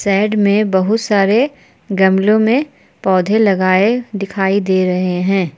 Side में बहुत सारे गमलो में पौधे लगाए दिखाई दे रहे हैं।